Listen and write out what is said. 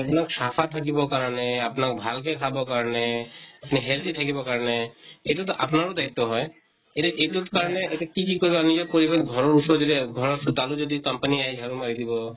আপোনাক চাফা থাকিব কাৰণে, আপোনাক ভাল কে খাব কাৰণে, আপোনাক healthy থাকিব কাৰণে, এইটো তো আপোনাৰো দায়িত্ব হয় । এতিয়া এইটোত কাৰণে কি কি কৰিবা নিজে কৰিবা । ঘৰৰ ওচৰৰ যেতিয়া, ঘৰৰ চোতালো যদি company আহে ঝাৰু মাৰি দিব ।